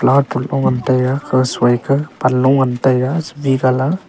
laot phulpho ngan tega kurse suikar panlo ngan tega colour .